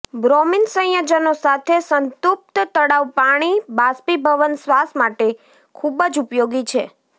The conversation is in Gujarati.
બ્રોમિન સંયોજનો સાથે સંતૃપ્ત તળાવ પાણી બાષ્પીભવન શ્વાસ માટે ખૂબ જ ઉપયોગી છે